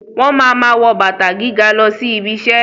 Wọ́n ma ma wọ́ bàtà gíga lọ sí ibiṣẹ́